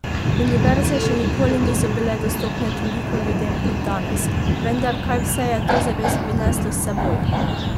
Univerze še nikoli niso bile dostopne toliko ljudem kot danes, vendar kaj vse je to zares prineslo s seboj?